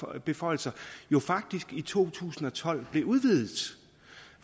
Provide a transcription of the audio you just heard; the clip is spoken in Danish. magtbeføjelser jo faktisk blev i to tusind og tolv